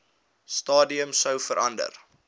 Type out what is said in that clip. stadium sou verander